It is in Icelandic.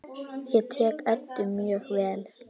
Ég þekki Eddu mjög vel.